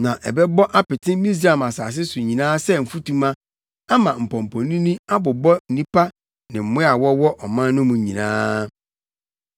Na ɛbɛbɔ apete Misraim asase so nyinaa sɛ mfutuma ama mpɔmpɔnini abobɔ nnipa ne mmoa a wɔwɔ ɔman no mu nyinaa.”